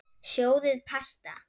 Sjóðið pasta.